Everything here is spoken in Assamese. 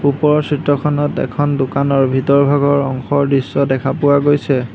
ওপৰৰ চিত্ৰখনত এখন দোকানৰ ভিতৰৰ ভাগৰ অংশৰ দৃশ্য দেখা পোৱা গৈছে।